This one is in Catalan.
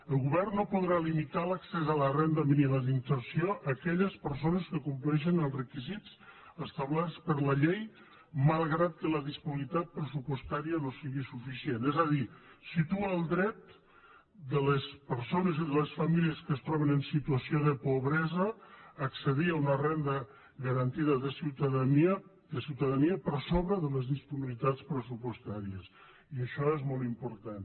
el govern no podrà limitar l’accés a la renda mínima d’inserció a aquelles persones que compleixen els requisits establerts per la llei malgrat que la disponibilitat pressupostària no sigui suficient és a dir situa el dret de les persones i de les famílies que es troben en situació de pobresa a accedir a una renda garantida de ciutadania per sobre de les disponibilitats pressupostàries i això és molt important